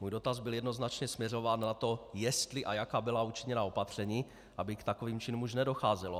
Můj dotaz byl jednoznačně směřován na to, jestli a jaká byla učiněna opatření, aby k takovým činům už nedocházelo.